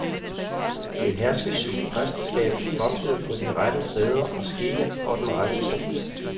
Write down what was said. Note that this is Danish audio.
Et herskesygt præsteskab vogtede på de rette sæder og skikke og den rette tro.